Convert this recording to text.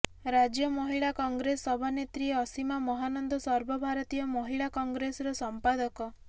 ରାଜ୍ୟ ମହିଳା କଂଗ୍ରେସ ସଭାନେତ୍ରୀ ଅସୀମା ମହାନନ୍ଦ ସର୍ବଭାରତୀୟ ମହିଳା କଂଗ୍ରେସର ସଂପାଦକ